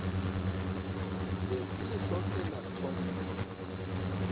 be ke le hlokela tlhompho